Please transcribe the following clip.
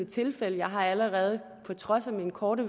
tilfælde jeg har allerede på trods af min korte